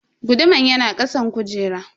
Guduman yana kasan kujera.